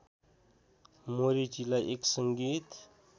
मोरेटीलाई एक सङ्गीत